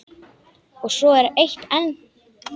Og svo er eitt enn.